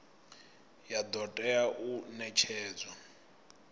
ya do tea u netshedzwa